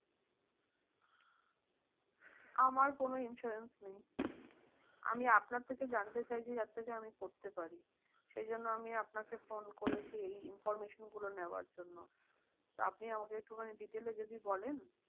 আমার কোনো insurance নেই। আমি আপনার থেকে জানতে চাইছি যে যার থেকে আমি করতে পারি। সেইজন্য আমি আপনাকে ফোন করেছি এই information গুলো নেওয়ার জন্য। তো আপনি আমাকে একটু খানি detail এ যদি বলেন?